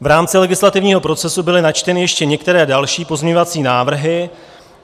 V rámci legislativního procesu byly načteny ještě některé další pozměňovací návrhy.